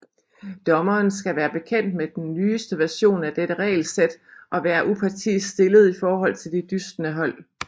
Dommeren skal være bekendt med nyeste version af dette regelsæt og være upartisk stillet i forhold til de dystende hold